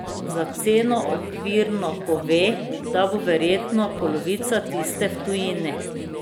Za ceno okvirno pove, da bo verjetno polovica tiste v tujini.